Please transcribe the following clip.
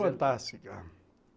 Fantástica.